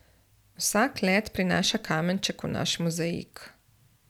Vsak let prinaša kamenček v naš mozaik.